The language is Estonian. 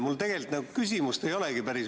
Mul tegelikult küsimust päris nagu ei olegi.